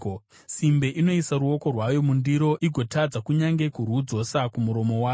Simbe inoisa ruoko rwayo mundiro; igotadza kunyange kurwudzosa kumuromo wayo!